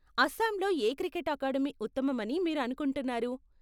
అస్సాంలో ఏ cricket academy ఉత్తమమని మీరు అనుకుంటున్నారు?